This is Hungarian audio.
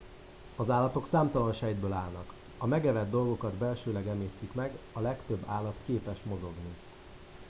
az állatok számtalan sejtből állnak a megevett dolgokat belsőleg emésztik meg a legtöbb állat képes mozogni